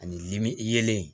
Ani limin yelen